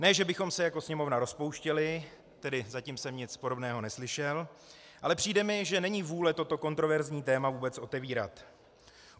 Ne že bychom se jako Sněmovna rozpouštěli, tedy zatím jsem nic podobného neslyšel, ale přijde mi, že není vůle toto kontroverzní téma vůbec otevírat.